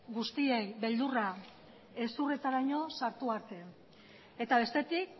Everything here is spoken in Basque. guztiei beldurra hezurretaraino sartu arte eta bestetik